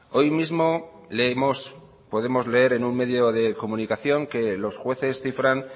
hoy mismo leemos podemos leer en un medio de comunicación que los jueces cifran